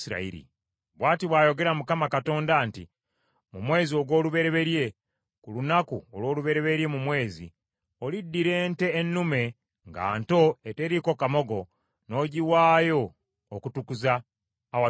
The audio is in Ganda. “ ‘Bw’ati bw’ayogera Mukama Katonda nti, Mu mwezi ogw’olubereberye ku lunaku olw’olubereberye mu mwezi, oliddira ente ennume nga nto eteriiko kamogo, n’ogiwaayo okutukuza awatukuvu.